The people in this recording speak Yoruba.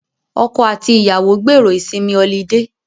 Ọkọ àti ìyàwó gbèrò ìsinmi olidé